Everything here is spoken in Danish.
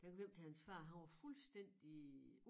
Da han kom hjem til hans far han var fuldstændig